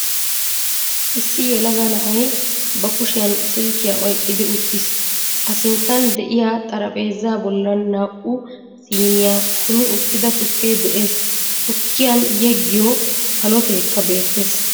Issi yelaga na'ay ba kushiyan silkkiya oyqqidi uttiis. A sinttan de'iya xarphpheezaa bollan naa"u siiniya kummi uttida tukke de'ees. Tukkiyan yeggiyo xaloteekka beettees.